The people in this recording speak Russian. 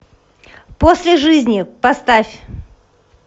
после жизни поставь